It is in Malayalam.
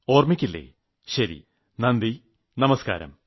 ഓർമ്മക്കില്ലേ ശരി നന്ദി നമസ്കാരം